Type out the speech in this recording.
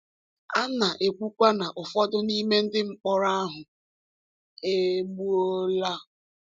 A na-ekwukwa na ụfọdụ n’ime ndị mkpọrọ ahụ e gbuola.